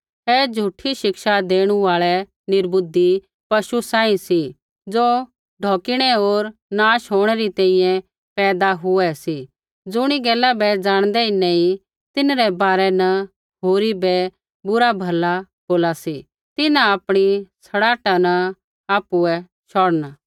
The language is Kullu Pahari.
ऐ झ़ूठी शिक्षा देणु आल़ै निर्बुद्धि पशु रै बराबर सी ज़ो ढौकिणै होर नाश होंणै री तैंईंयैं पैदा हुऐ सी होर ज़ुणी गैला बै ज़ाणदै ही नैंई तिन्हरै बारै न होरी बै बुरा भला बोला सी तिन्हां आपणी सड़ाहटा न आपुऐ शौढ़ना